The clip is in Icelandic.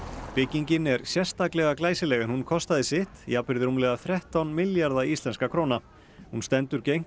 byggingin er sérstaklega glæsileg en hún kostaði sitt jafnvirði rúmlega þrettán milljarða íslenskra króna hún stendur gegnt